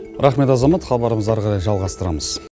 рахмет азамат хабарымызды әрі қарай жалғастырамыз